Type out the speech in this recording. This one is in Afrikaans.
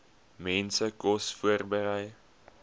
mense kos voorberei